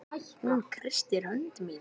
Hún kreistir hönd mína.